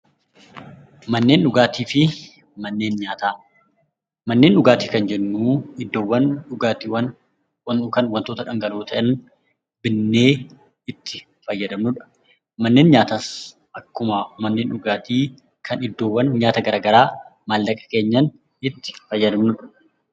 Manneen dhugaatii fi manneen nyaataa Manneen dhugaatii kan jennuun iddoowwan dhugaatii waantota dhangala'oo ta'an bitnee itti fayyadamnudha. Manneen nyaataas akkasuma manneen dhugaatii iddoowwan nyaata garaagaraa mallaqaan itti fayyadamnudha.